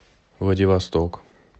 владивосток